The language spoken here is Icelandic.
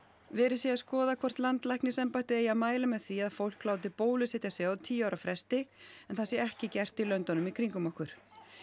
verið sé að skoða hvort landlæknisembættið eigi að mæla með því að fólk láti bólusetja sig á tíu ára fresti en það sé ekki gert í löndunum í kringum okkur